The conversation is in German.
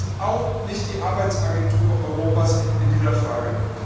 Wir sind auch nicht die Arbeitsagentur Europas in dieser Frage.